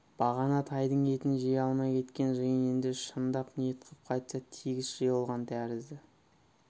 бағана тайдың етін жей алмай кеткен жиын енді шындап ниет қып қайта тегіс жиылған тәрізді